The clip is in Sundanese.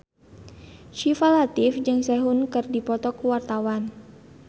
Syifa Latief jeung Sehun keur dipoto ku wartawan